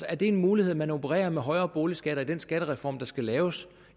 er det en mulighed at man opererer med højere boligskatter i den skattereform der skal laves